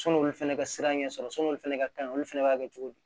Sɔn'olu fɛnɛ ka siran ɲɛsɔrɔ sɔn'olu fɛnɛ ka kaɲi olu fana b'a kɛ cogo di